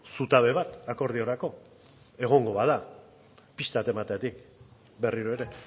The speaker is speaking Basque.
zutabe bat akordiorako egongo bada pista bat emateagatik berriro ere